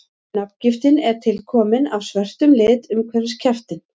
nafngiftin er tilkomin af svörtum lit umhverfis kjaftinn